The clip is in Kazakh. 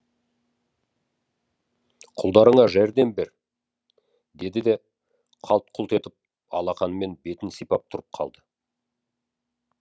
құлдарыңа жәрдем бер деді де қалт құлт етіп алақанымен бетін сипап тұрып қалды